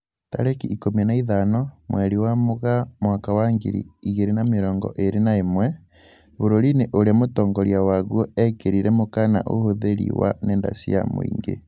Tarĩki ikũmi na ithano mweri wa Mũgaa mwaka wa ngiri igĩrĩ na mĩrongo ĩrĩ na ĩmwe, bũrũri-inĩ ũrĩa mũtongoria waguo ekĩrirĩre mũkana ũhũthĩri wa nenda cia mũingĩ